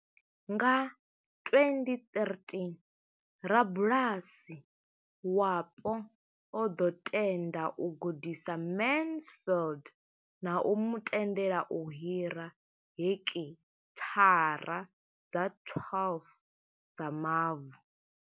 Nga 2013, rabulasi wapo o ḓo tenda u gudisa Mansfield na u mu tendela u hira heki thara dza 12 dza mavu.